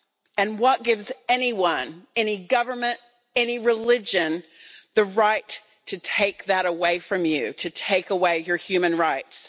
And what gives anyone, any government, any religion, the right to take that away from you to take away your human rights?